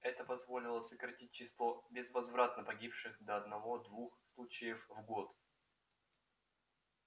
это позволило сократить число безвозвратно погибших до одного-двух случаев в год